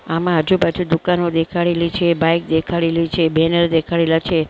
આમાં આજુ-બાજુ દુકાનો દેખાડેલી છે બાઈક દેખાડેલી છે બેનર દેખાડેલા છે.